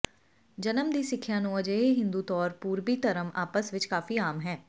ਜਨਮ ਦੀ ਸਿੱਖਿਆ ਨੂੰ ਅਜਿਹੇ ਹਿੰਦੂ ਤੌਰ ਪੂਰਬੀ ਧਰਮ ਆਪਸ ਵਿੱਚ ਕਾਫ਼ੀ ਆਮ ਹੈ